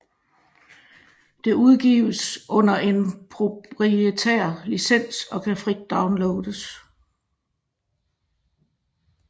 Det udgives under en proprietær licens og kan frit downloades